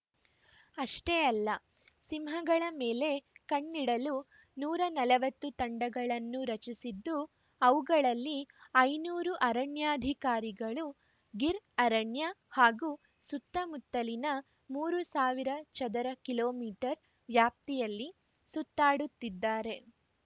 ಅಷ್ಟೇ ಅಲ್ಲ ಸಿಂಹಗಳ ಮೇಲೆ ಕಣ್ಣಿಡಲು ನೂರ ನಲವತ್ತು ತಂಡಗಳನ್ನು ರಚಿಸಿದ್ದು ಅವುಗಳಲ್ಲಿ ಐನೂರು ಅರಣ್ಯಾಧಿಕಾರಿಗಳು ಗಿರ್‌ ಅರಣ್ಯ ಹಾಗೂ ಸುತ್ತಮುತ್ತಲಿನ ಮೂರ್ ಸಾವಿರ ಚದರ ಕಿಲೋ ಮೀಟರ್ ವ್ಯಾಪ್ತಿಯಲ್ಲಿ ಸುತ್ತಾಡುತ್ತಿದ್ದಾರೆ